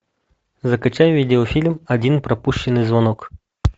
закачай видеофильм один пропущенный звонок